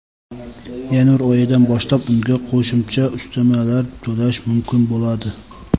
yanvar oyidan boshlab unga qo‘shimcha ustamalar to‘lash mumkin bo‘ladi.